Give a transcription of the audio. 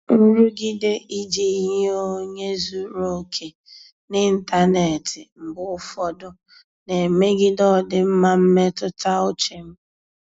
Nrụgide iji yie onye zuru oke n'ịntanetị mgbe ụfọdụ na-emegide ọdịmma mmetụta uche m.